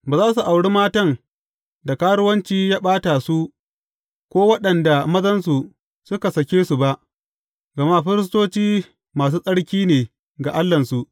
Ba za su auri matan da karuwanci ya ɓata su, ko waɗanda mazansu suka sake su ba, gama firistoci masu tsarki ne ga Allahnsu.